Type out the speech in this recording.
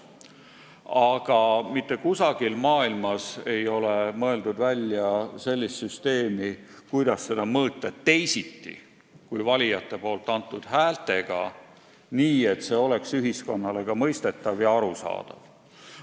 Aga mitte kusagil maailmas ei ole mõeldud välja sellist süsteemi, mille abil seda mõõta teisiti kui valijate antud häältega, nii et see oleks ka ühiskonnale mõistetav ja arusaadav.